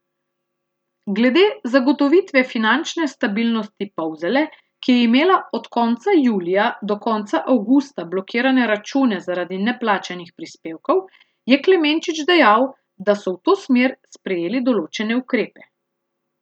Glede zagotovitve finančne stabilnosti Polzele, ki je imela od konca julija do konca avgusta blokirane račune zaradi neplačanih prispevkov, je Klemenčič dejal, da so v to smer sprejeli določene ukrepe.